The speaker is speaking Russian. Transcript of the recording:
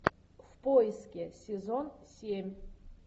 в поиске сезон семь